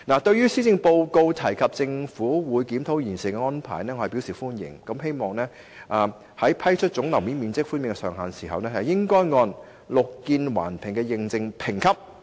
對於施政報告提出政府會檢討現時"綠建環評"的安排，我表示歡迎，希望政府在釐定和批出總樓面面積寬免的上限時，可按"綠建環評"的認證評級。